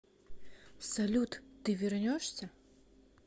салют ты вернешься